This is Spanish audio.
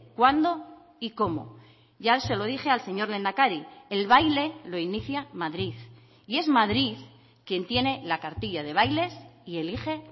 cuándo y cómo ya se lo dije al señor lehendakari el baile lo inicia madrid y es madrid quien tiene la cartilla de bailes y elige